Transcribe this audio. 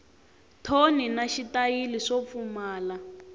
thoni na xitayili swo pfumala